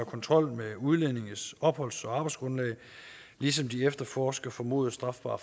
kontrollen med udlændinges opholds og arbejdsgrundlag ligesom de efterforsker formodet strafbare